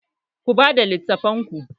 Ku bada littafan ku!